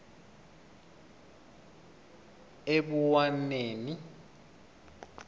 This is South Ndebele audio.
ebuwaneni